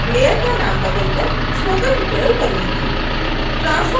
मैं layer का नाम बदल कर spoken tutorial करूँगी